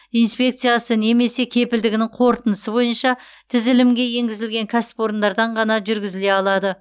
инспекциясы немесе кепілдігінің қорытындысы бойынша тізілімге енгізілген кәсіпорындардан ғана жүргізіле алады